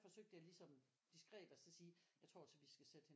Forsøgte jeg ligesom diskret at så sige jeg synes altså vi skal sætte hende